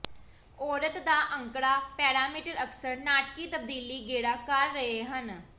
ਔਰਤ ਦਾ ਅੰਕੜਾ ਪੈਰਾਮੀਟਰ ਅਕਸਰ ਨਾਟਕੀ ਤਬਦੀਲੀ ਗੇੜਾ ਕਰ ਰਹੇ ਹਨ